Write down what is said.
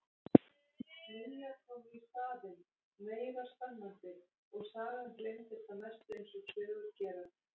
Nýjar komu í staðinn, meira spennandi, og sagan gleymdist að mestu eins og sögur gera.